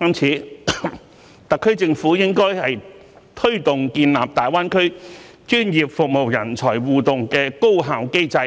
因此，特區政府應推動建立大灣區專業服務人才互動的高效機制，